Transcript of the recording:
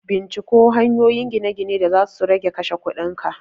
Binciko hanyoyin gine-gine da zasu rage kashe kudin ka!